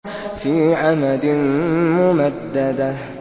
فِي عَمَدٍ مُّمَدَّدَةٍ